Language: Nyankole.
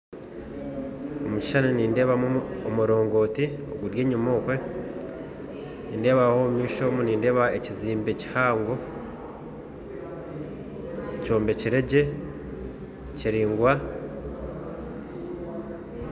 Omu kishishani nindeebamu omurongooti guryenyuma okwe, omu maisho omu nindeebamu ekizimbe kihango kyombekire gye, kiringwa